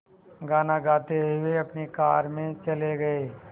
गाना गाते हुए अपनी कार में चले गए